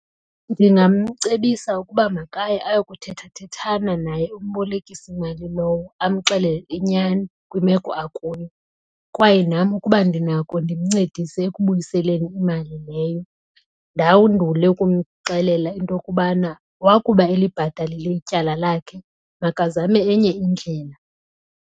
Ndingamcebisa ukuba makaye ayokuthethathethana naye umbolekisimali lowo amxelele inyani kwimeko akuyo kwaye nam ukuba ndinako ndimncedise ekubuyiseleni imali leyo. Ndawundule ukumxelela into yokubana wakuba elibhatalile ityala lakhe makazame enye indlela.